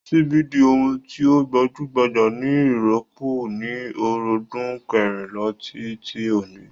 Síbí di ohun tí ó gbajúgbajà ni írópù ní ọ̀rúndún kẹrìnlá tí tí oní.